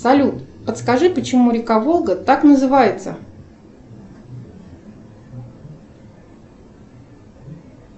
салют подскажи почему река волга так называется